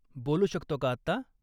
बोलू शकतो का आत्ता?